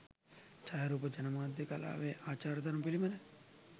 ජායාරූප ජනමාධ්‍ය කලාවේ ආචාර ධර්ම පිළිබඳ